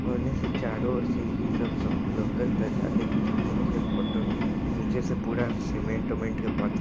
औने चारों और से यही सब लोकत ज्यादा कुछ नइखे फोटो मे नीचे से पूरा सिमेन्ट उमेन्ट के पत्थर--